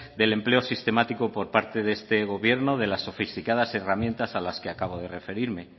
del empleo sistemático por parte de este gobierno de la sofisticadas herramientas a las que acabo de referirme